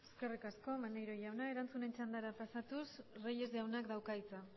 eskerrik asko maneiro jauna erantzunen txandara pasatuz reyes jaunak dauka hitza